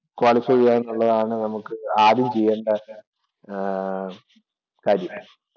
Qualify ചെയ്യുക എന്നുള്ളതാണ് നമുക്ക് ആദ്യം ചെയ്യേണ്ട ആഹ് കാര്യം.